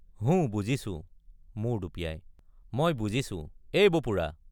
হুঁ বুজিছো—মূৰ দুপিয়াই—মই বুজিছো এই বপুৰা!